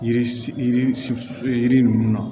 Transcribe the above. Yiri si yiri ninnu na